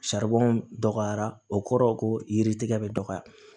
dɔgɔyara o kɔrɔ ko yiri tigɛ bɛ dɔgɔya